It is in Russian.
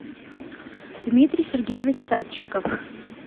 дмитрий сергеевич садчиков